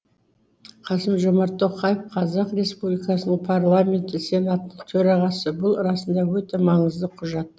қасым жомарт тоқаев қазақстан республикасының парламенті сенатының төрағасы бұл расында өте маңызды құжат